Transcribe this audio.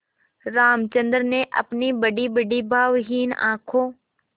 रामचंद्र ने अपनी बड़ीबड़ी भावहीन आँखों